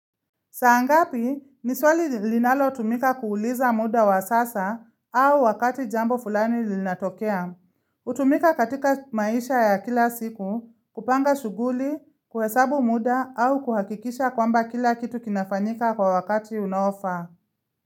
Saangapi niswali linalo tumika kuuliza muda wa sasa au wakati jambo fulani linatokea. Utumika katika maisha ya kila siku, kupanga shughuli, kuhesabu muda au kuhakikisha kwamba kila kitu kinafanyika kwa wakati unaofaa.